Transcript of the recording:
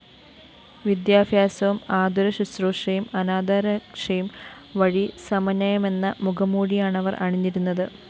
വിദ്യാഭ്യാസവും ആതുര ശുശ്രൂഷയും അനാഥരക്ഷയും വഴി സമന്വയമെന്ന മുഖംമൂടിയാണവര്‍ അണിഞ്ഞിരുന്നത്